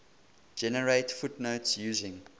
generate footnotes using